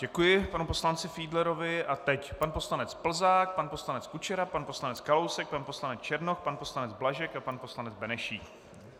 Děkuji panu poslanci Fiedlerovi a teď pan poslanec Plzák, pan poslanec Kučera, pan poslanec Kalousek, pan poslanec Černoch, pan poslanec Blažek a pan poslanec Benešík.